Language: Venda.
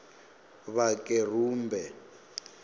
vhakerumbe